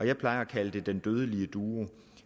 jeg plejer at kalde en dødelig duo